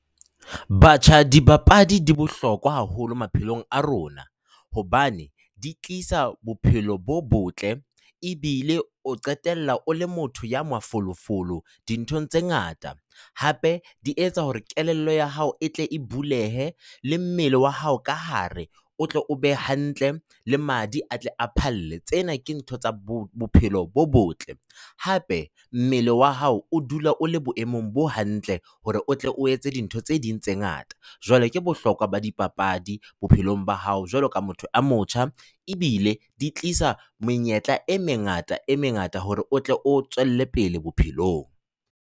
Batjha, dibapadi di bohlokwa haholo maphelong a rona hobane di tlisa bophelo bo botle ebile o qetella o le motho ya mafolofolo dinthong tse ngata. Hape di etsa hore kelello ya hao e tle e bulehe. Le mmele wa hao ka hare, o tlo o be hantle le madi a tle a phalle, tsena ke ntho tsa bo bophelo bo botle. Hape mmele wa hao o dula le boemong bo hantle hore o tle o etse dintho tse ding tse ngata. Jwale ke bohlokwa ba dipapadi bophelong ba hao jwaloka motho e motjha, ebile di tlisa menyetla e mengata e mengata hore o tle o tswelle pele bophelong.